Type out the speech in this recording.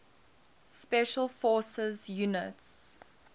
special forces units